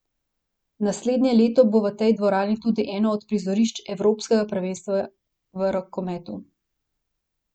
Naslednje leto bo v tej dvorani tudi eno od prizorišč evropskega prvenstva v rokometu.